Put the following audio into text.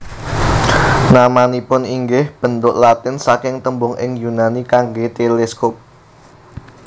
Namanipun inggih bentuk Latin saking tembung ing Yunani kangge teleskop